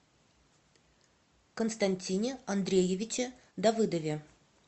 константине андреевиче давыдове